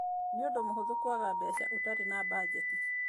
Nĩ ũndũ mũhũthũ kwaga mbeca ũtarĩ na mbanjeti.